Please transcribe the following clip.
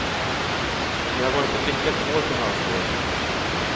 Det har varit ett lyckat år för hans del.